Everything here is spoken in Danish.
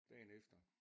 Dagen efter